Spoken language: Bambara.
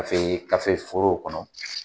forow kɔnɔ